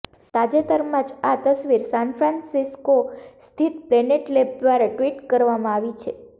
તાજેતરમાં જ આ તસવીર સાનફ્રાન્સિસ્કો સ્થિત પ્લેનેટ લેબ દ્વારા ટ્વિટ કરવામાં આવી છે